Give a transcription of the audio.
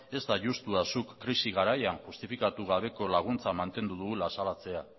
ez da justua zuk krisi garaian justifikatu gabeko laguntza mantendu dugula azalaratzea